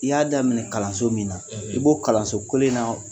I y'a daminɛ kalanso min na, i b'o kalanso kwelen na